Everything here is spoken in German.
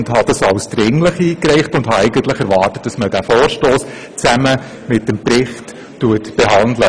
Ich habe ihn als dringlich eingereicht und erwartet, dass man diesen Vorstoss zusammen mit dem Bericht behandelt.